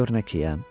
Gör nəkeyəm.